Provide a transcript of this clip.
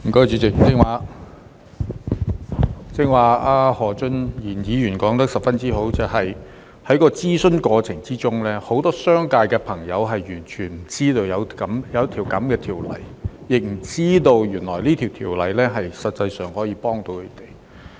主席，何俊賢議員剛才說得相當好，就是在諮詢過程中，很多商界朋友完全不知道有這項《貨物銷售條例草案》，亦不知道原來《條例草案》實際上可以幫助到他們。